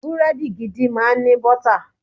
Búrẹ́dì gidi máa ń ní bọ́tà.